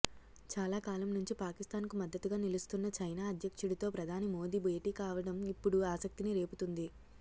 చాలా కాలం నుంచి పాకిస్తాన్కు మద్దతుగా నిలుస్తున్న చైనా అధ్యక్షుడితో ప్రధాని మోదీ భేటీ కావడం ఇప్పుడు ఆసక్తిని రేపుతోంది